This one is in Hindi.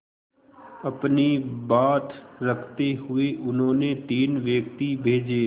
अपनी बात रखते हुए उन्होंने तीन व्यक्ति भेजे